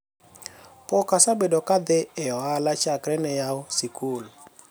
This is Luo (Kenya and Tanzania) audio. pok asebedo ka adhi e ohala chakre ne yaw sikul